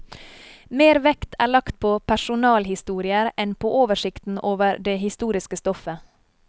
Mer vekt er lagt på personalhistorier enn på oversikten over det historiske stoffet.